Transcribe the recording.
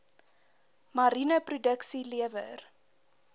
mariene produksie lewer